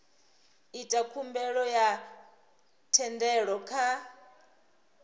ita khumbelo ya thendelo kha